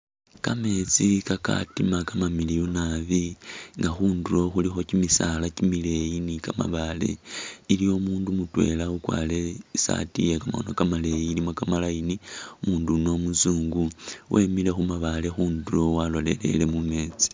Kameetsi kakatima kamamiliyu nabi nga khundulo khulikho kimisaala kimileeyi ni kamabaale, iliwo umuundu mutweela ukwarire i'saati ye kamakhono kamaleyi ilimo kamaline, umundu yuno umuzungu, wemile khu mabaale khundulo walolelele mu meetsi.